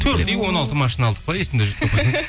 төрт үй он алты машина алдық па есімде жоқ